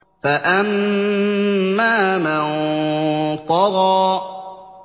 فَأَمَّا مَن طَغَىٰ